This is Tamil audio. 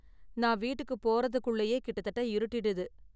நான் வீட்டுக்கு போறதுக்குள்ளேயே கிட்ட தட்ட இருட்டிடுது.